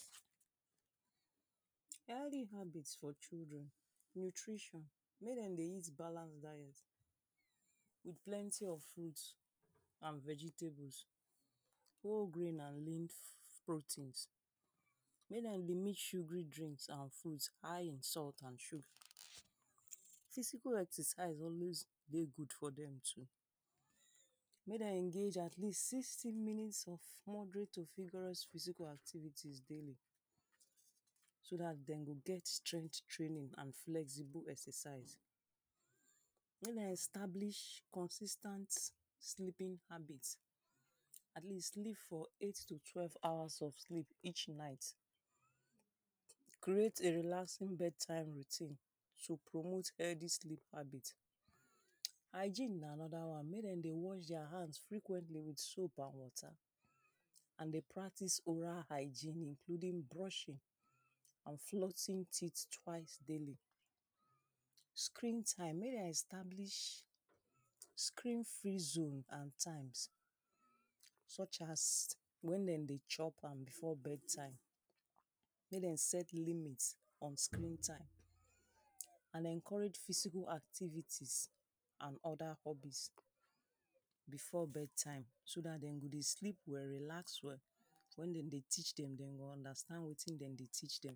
Healthy habit for children. Nutrition, make dem dey eat balance diet with plenty of fruits and vegetables, whole grains and leaf proteins. Make dem dey mix sugary drinks and fruit high in salt and sugar. Physical exercise always dey good for dem too. Make dem engage atleast sixty minutes of moderate to rigorous physical activities daily. So dat dem go get straight training and flexible exercise. Make dem establish consistant sleeping habit. Atleast sleep for eight to twelve hours of sleep each night. Create a relaxing bed time routine to promote healthy sleep habit. Hygeine na another one. Make dem dey wash their hand frequently with soap and water. And dey practice oral hygeine including brushing. and [2] teeth twice daily. Screen time, make dem establish screen free zone and times such as when dem dey chop and before bed time. Make dem set limit on screen time. And encourage physical activites and other hobbies before bed time so dat dem go dey sleep well relax well So when dem dey teach dem, they go go understand wetin dem dey teach dem.